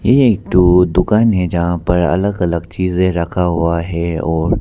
ये एक दो दुकाने है जहां पर अलग अलग चीजें रखा हुआ है और--